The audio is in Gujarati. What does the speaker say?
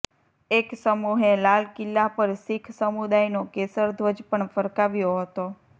એક સમૂહે લાલ કિલ્લા પર શીખ સમુદાયનો કેસર ધ્વજ પણ ફરકાવ્યો હતો